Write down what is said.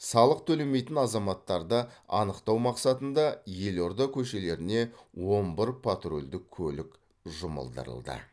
салық төлемейтін азаматтарды анықтау мақсатында елорда көшелеріне он бір патрульдік көлік жұмылдырылды